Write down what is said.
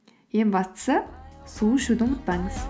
ең бастысы су ішуді ұмытпаңыз